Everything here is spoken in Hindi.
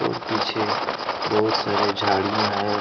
और पीछे बहुत सारे झाड़ियां है।